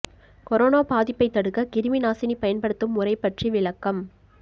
corona பாதிப்பை தடுக்க கிருமி நாசினி பயன்படுத்தும் முறை பற்றி விளக்கம்